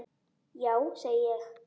Já, segi ég.